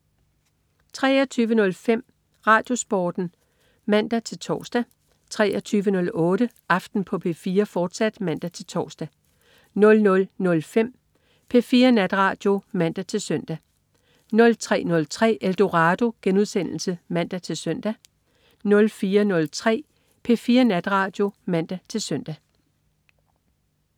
23.05 RadioSporten (man-tors) 23.08 Aften på P4, fortsat (man-tors) 00.05 P4 Natradio (man-søn) 03.03 Eldorado* (man-søn) 04.03 P4 Natradio (man-søn)